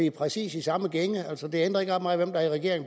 i præcis samme gænge